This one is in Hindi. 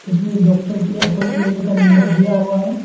इसमें डॉक्टर के लिए अपॉइंटमेंट लेने का नंबर दिया हुआ है।